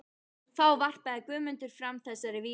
Þá varpaði Guðmundur fram þessari vísu